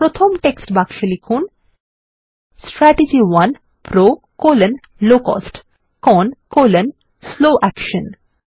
প্রথম টেক্সট বাক্সে লিখুন160 strategy 1 PRO low cost CON slow action